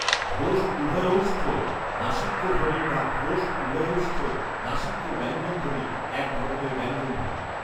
ঘোষ উভয়ৌষ্ঠ্য নাসিক্যধ্বনি বা ঘোষ উভয়ৌষ্ঠ্য নাসিক্য ব্যঞ্জনধ্বনি এক ধরনের ব্যঞ্জনধ্বনি